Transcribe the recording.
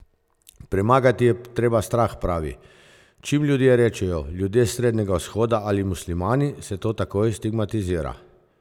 Premagati je treba strah, pravi: "Čim ljudje rečejo 'ljudje s Srednjega vzhoda' ali 'muslimani', se to takoj stigmatizira.